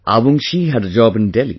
Avungshee had a job in Delhi